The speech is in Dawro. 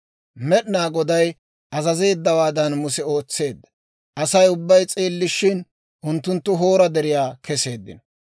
Med'inaa Goday azazeeddawaadan Muse ootseedda; Asay ubbay s'eellishin, unttunttu Hoora Deriyaa keseeddino.